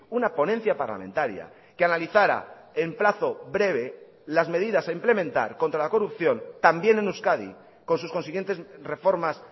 una ponencia parlamentaria que analizara en plazo breve las medidas a implementar contra la corrupción también en euskadi con sus consiguientes reformas